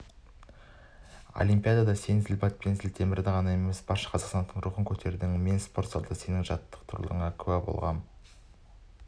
олимпиадада сен зілбатпан зілтемірді ғана емес барша қазақстандықтың рухын көтердің мен спортзалда сендердің жаттығуларыңа куә болғам